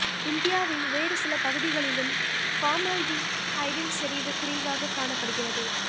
இந்தியாவின் வேறு சில பகுதிகளிலும் ஃபார்மால்டிஹைடின் செறிவு குறைவாகக் காணப்படுகிறது